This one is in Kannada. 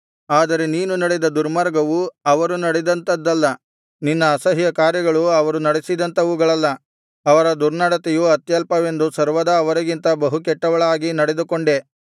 ಆದರೆ ನೀನು ನಡೆದ ದುರ್ಮಾರ್ಗವು ಅವರು ನಡೆದಂಥದಲ್ಲ ನಿನ್ನ ಅಸಹ್ಯಕಾರ್ಯಗಳು ಅವರು ನಡೆಸಿದಂಥವುಗಳಲ್ಲ ಅವರ ದುರ್ನಡತೆಯು ಅತ್ಯಲ್ಪವೆಂದು ಸರ್ವದಾ ಅವರಿಗಿಂತ ಬಹುಕೆಟ್ಟವಳಾಗಿ ನಡೆದುಕೊಂಡೆ